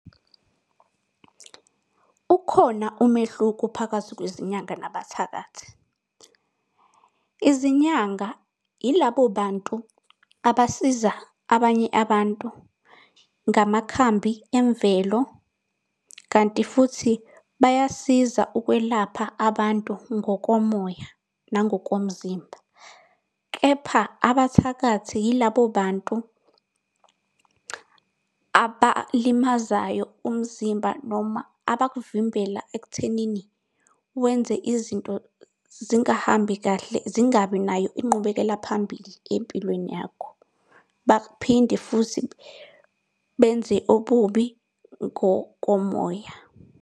Ukhona umehluko phakathi kwezinyanga nabathakathi. Izinyanga yilabo bantu abasiza abanye abantu ngamakhambi emvelo kanti futhi bayasiza ukwelapha abantu ngokomoya nangokomzimba, kepha abathakathi yilabo bantu abalimazayo umzimba noma abakuvimbela ekuthenini wenze izinto zingahambi kahle zingabi nayo inqubekela phambili empilweni yakho. Baphinde futhi benze ububi ngokomoya.